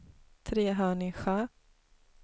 Trehörningsjö